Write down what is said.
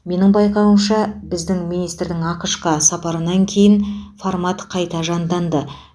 менің байқауымша біздің министрдің ақш қа сапарынан кейін формат қайта жанданды